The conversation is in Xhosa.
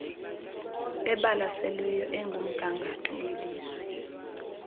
ebalaseleyo ekumgangatho welizwe